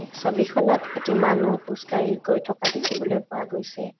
ছবিখনত এটি মানুহ খোজকাঢ়ি গৈ থকা দেখিবলৈ পোৱা গৈছে।